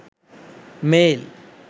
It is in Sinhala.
mail